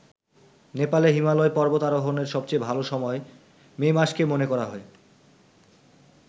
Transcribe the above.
নেপালে হিমালয় পর্বতারোহনের সবচেয়ে ভাল সময় বলে মে মাসকে মনে করা হয়।